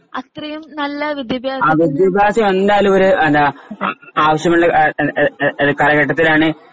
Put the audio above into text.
വിദ്ത്യഭ്യാസാം എന്തായാലും ഇവര് എല്ലാ ആവശ്യമുള്ള എ എ എ എ എ എ കാലഘട്ടത്തിലാണ്